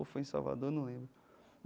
Ou foi em Salvador, eu não lembro.